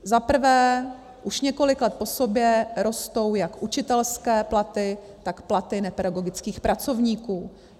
Zaprvé, už několik let po sobě rostou jak učitelské platy, tak platy nepedagogických pracovníků.